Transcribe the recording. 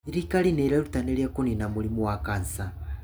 Thirikari nĩ iĩrutanĩirie kũniina mũrimũ wa kansa.